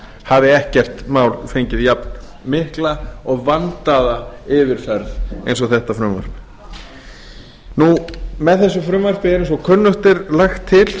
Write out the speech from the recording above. hafi ekkert mál fengið jafnmikla og vandaða yfirferð eins og þetta frumvarp með þessu frumvarpi er eins og kunnugt er lagt til